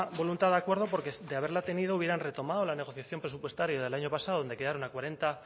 voluntad de acuerdo porque de haberla tenido hubieran retomado la negociación presupuestaria del año pasado donde quedaron a cuarenta